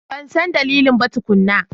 Ban san dalili ba tukuna.